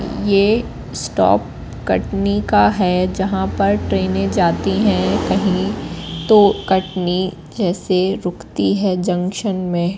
ये स्टॉप कटनी का है जहाँ पर ट्रेने जाती है कहीं तो कटनी जैसी रुकती है जंक्शन में--